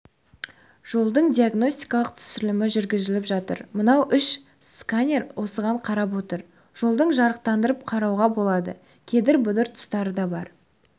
жолдың диагностикалық түсірілімі жүргізіліп жатыр мынау үш сканер осыған қарап отырып жолдың жарықтарын қарауға болады кедір-бұдыр тұстары да бар